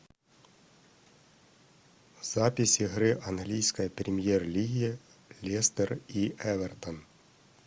запись игры английской премьер лиги лестер и эвертон